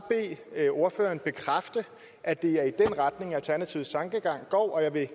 bede ordføreren bekræfte at det er i den retning alternativets tankegang går og jeg vil